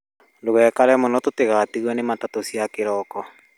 Ndugaikare mũno tũtigatigwo nĩ matatũ cia kĩroko